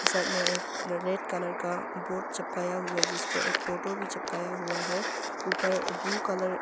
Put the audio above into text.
सामने एक red colour का बोर्ड चिपकाया हुआ जिस पे एक फोटो भी चिपकाया हुआ है ऊपर ब्लू कलर --